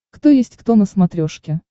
кто есть кто на смотрешке